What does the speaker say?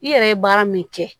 I yɛrɛ ye baara min kɛ